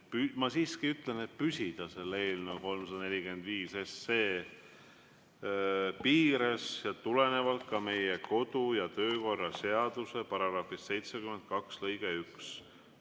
Ma siiski ütlen, et tuleks püsida eelnõu 345 piires, tulenevalt meie kodu‑ ja töökorra seaduse § 72 lõikest 1.